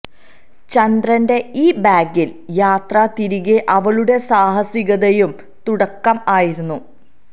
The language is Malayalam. ചന്ദ്രന്റെ ഈ ബാഗിൽ യാത്ര തിരികെ അവളുടെ സാഹസികതയും തുടക്കം ആയിരുന്നു